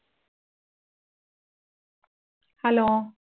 hello